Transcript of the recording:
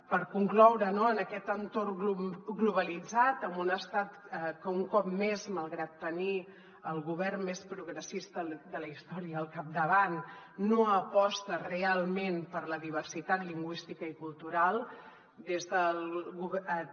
per concloure no en aquest entorn globalitzat amb un estat que un cop més malgrat tenir el govern més progressista de la història al capdavant no aposta real·ment per la diversitat lingüística i cultural des de